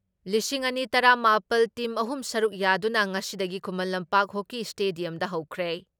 ꯂꯤꯁꯤꯡ ꯑꯅꯤ ꯇꯔꯥ ꯃꯥꯄꯜ ꯇꯤꯝ ꯑꯍꯨꯝ ꯁꯔꯨꯛ ꯌꯥꯗꯨꯅ ꯉꯁꯤꯗꯒꯤ ꯈꯨꯃꯟ ꯂꯝꯄꯥꯛ ꯍꯣꯀꯤ ꯏꯁꯇꯦꯗꯤꯌꯝꯗ ꯍꯧꯈ꯭ꯔꯦ ꯫